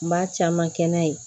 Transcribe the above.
N b'a caman kɛ n'a ye